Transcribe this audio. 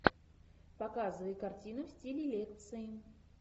показывай картину в стиле лекции